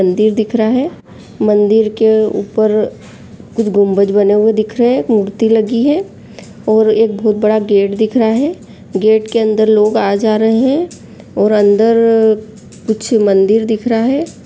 मंदिर दिख रहा है मंदिर के ऊपर कुछ गुम्बज बने हुए दिख रहे है एक मूर्ति लगी है और एक बहोत बड़ा गेट दिख रहा है गेट के अंदर लोग आ जा रहे है और अंदर अ कुछ मंदिर दिख रहा है।